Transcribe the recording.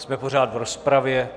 Jsme pořád v rozpravě.